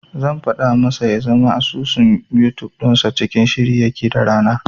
Zan faɗa masa ya zama asusun Yutub dinsa cikin shiri yake da rana.